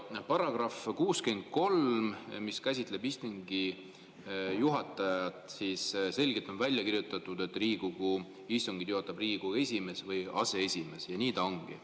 Paragrahv 63 käsitleb istungi juhatajat ja selgelt on välja kirjutatud, et Riigikogu istungeid juhatab Riigikogu esimees või aseesimees, ja nii ta ongi.